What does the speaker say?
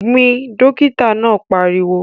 Gbìn! Dókítà náà pariwo.